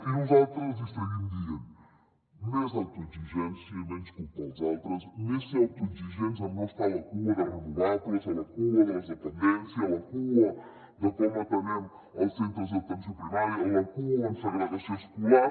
i nosaltres els hi seguim dient més autoexigència i menys culpar els altres més ser autoexigents amb no estar a la cua de renovables a la cua de la dependència a la cua de com atenem els centres d’atenció primària a la cua en segregació escolar